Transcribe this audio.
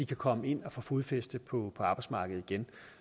komme ind og få fodfæste på arbejdsmarkedet igen